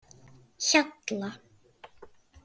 Hjalla